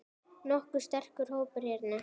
Nokkuð sterkur hópur hérna.